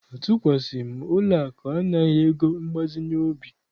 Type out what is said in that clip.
Atụkwasịghị m ụlọakụ anaghị ego mgbazinye obi.